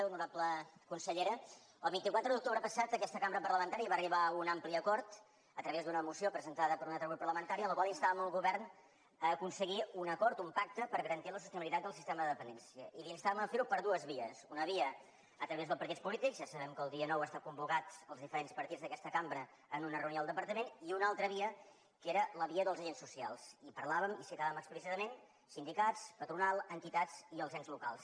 honorable consellera el vint quatre d’octubre passat aquesta cambra parlamentària va arribar a un ampli acord a través d’una moció presentada per un altre grup parlamentari en la qual instàvem el govern a aconseguir un acord un pacte per garantir la sostenibilitat del sistema de dependència i l’instàvem a fer ho per dues vies una via a través dels partits polítics ja sabem que el dia nou estan convocats els diferents partits d’aquesta cambra en una reunió al departament i una altra via que era la via dels agents socials i parlàvem i citàvem explícitament sindicats patronal entitats i els ens locals